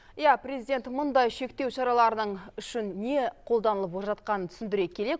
иә президент мұндай шектеу шараларының үшін не қолданылып жатқанын түсіндіре келе